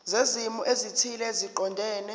zezimo ezithile eziqondene